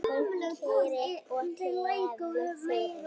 Hún kærir og tefur fyrir.